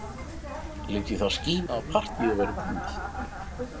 Lét í það skína að partíið væri búið.